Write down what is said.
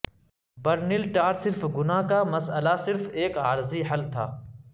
burn altar صرف گناہ کا مسئلہ صرف ایک عارضی حل تھا